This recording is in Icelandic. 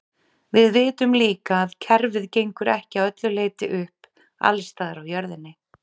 Við vitum líka að kerfið gengur ekki að öllu leyti upp alls staðar á jörðinni.